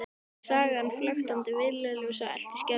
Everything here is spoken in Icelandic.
Sagan flöktandi villuljós elt í skelfilegum draumi?